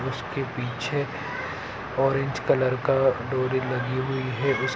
उसके पीछे orange colour का डोरी लगी हुई है इस----